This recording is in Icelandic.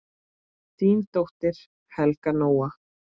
Þín dóttir, Helga Nóa.